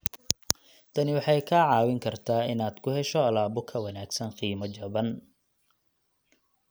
Tani waxay kaa caawin kartaa inaad ku hesho alaabo ka wanaagsan qiimo jaban.